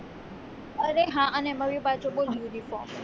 અરે હા અને એમાં બી પાછું બોલ uniform